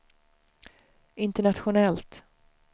internationellt